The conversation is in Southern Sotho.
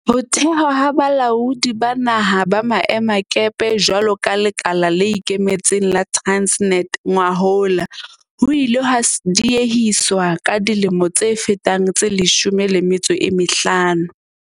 Ho thehwa ha Balaodi ba Naha ba Maemakepe jwalo ka lekala le ikemetseng la Transnet ngwahola ho ile ha diehiswa ka dilemo tse fetang tse 15.